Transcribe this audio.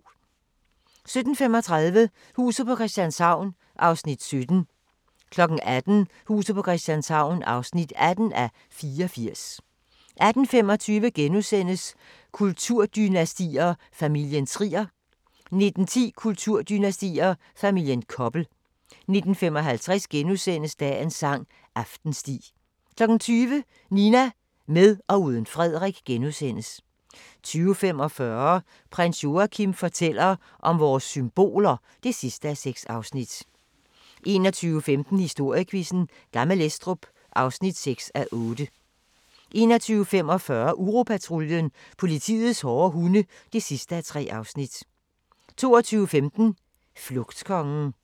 17:35: Huset på Christianshavn (17:84) 18:00: Huset på Christianshavn (18:84) 18:25: Kulturdynastier: Familien Trier * 19:10: Kulturdynastier: Familien Koppel 19:55: Dagens sang: Aftensti * 20:00: Nina – med og uden Frederik * 20:45: Prins Joachim fortæller om vores symboler (6:6) 21:15: Historiequizzen: Gammel Estrup (6:8) 21:45: Uropatruljen – politiets hårde hunde (3:3) 22:15: Flugtkongen